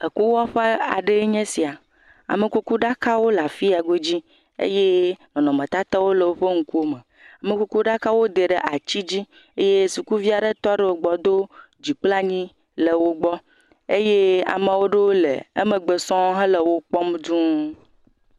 Ekuwɔƒe aɖee nye sia. Amekukuɖakawo le afi ya godzi eye nɔnɔmetatawo le woƒe ŋkuwome. Amekukɖakawo woda wo ɖe atsi dzi eye sukuviaɖe tɔ ɖe wogbɔ do dzi kple anyi le wogbɔ. Eye ma ɖewo le emegbe sɔŋ hele wokpɔm dũu.